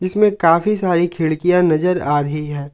इसमें काफी सारी खिड़कियां नजर आ रही है।